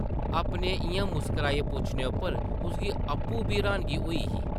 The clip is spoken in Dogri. अपने इʼयां मुस्कराइयै पुच्छने उप्पर उसगी आपूं बी र्हानगी होई ही ।